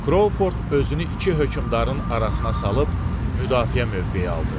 Krovford özünü iki hökmdarın arasına salıb müdafiə mövqeyi aldı.